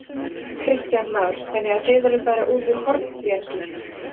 Kristján Már: Þannig að þið eruð bara út úr Hornbjargi?